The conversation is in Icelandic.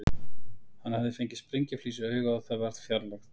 Hann hafði fengið sprengjuflís í augað og það verið fjarlægt.